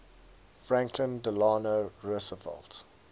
franklin delano roosevelt